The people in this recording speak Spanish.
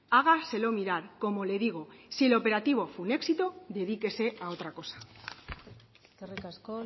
hágaselo mirar como le digo si el operativo es un éxito dedíquese a otra cosa eskerrik asko